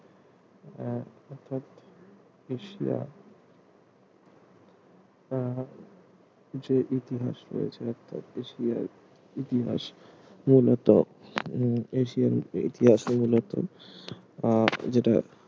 Asia আহ যে ইতিহাস রয়েছে অর্থাৎ এশিয়ার ইতিহাস মূলত উম এশিয়ান ইতিহাস মূলত আহ যেটা